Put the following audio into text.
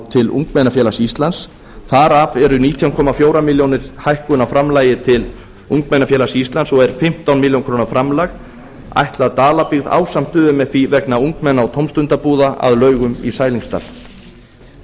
til ungmennafélags íslands þar af er nítján komma fjögur ár hækkun á framlagi til ungmennafélags íslands og er fimmtán ár framlag ætlað dalabyggð ásamt umfí vegna ungmenna og tómstundabúða að laugum í sælingsdal